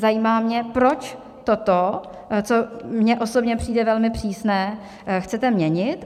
Zajímá mě, proč toto, co mně osobně přijde velmi přísné, chcete měnit.